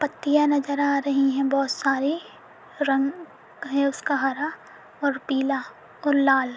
पत्तिया नजर आ रही हैं बहुत सारी रंग है उसका हरा और पीला और लाल।